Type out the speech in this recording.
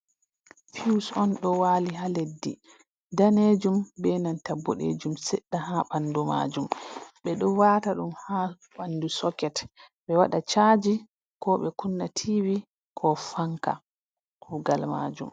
Fuws on ɗo wali ha leddi, danejum be nanta boɗejum sedda ha ɓandu majum, ɓeɗo wata ɗum ha ɓandu soket ɓe waɗa caji ko ɓe kunna tivi ko fanka kugal majum.